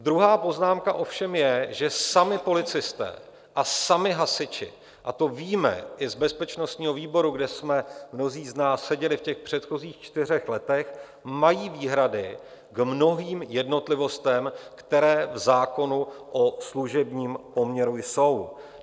Druhá poznámka ovšem je, že sami policisté a sami hasiči, a to víme i z bezpečnostního výboru, kde jsme mnozí z nás seděli v těch předchozích čtyřech letech, mají výhrady k mnohým jednotlivostem, které v zákonu o služebním poměru jsou.